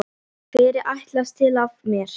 Hvers er ætlast til af mér?